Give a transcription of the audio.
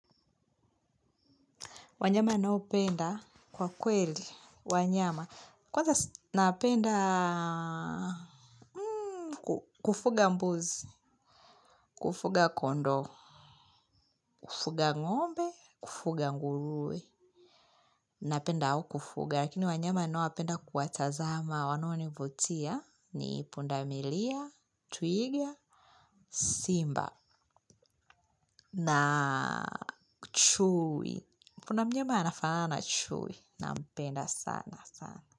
Wanyama ninaopenda kwa kweli, wanyama. Kwanza napenda kufuga mbuzi, kufuga kondoo, kufuga ngombe, kufuga nguruwe, napenda hao kufuga. Lakini wanyama ninaowapenda kuatazama wanonivutia ni pundamilia, twiga, simba, na chui. Kuna mnyama anafanana na chui, napenda sana sana.